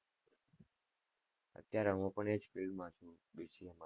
અત્યરે હું પણ એ જ field માં છુ. BCA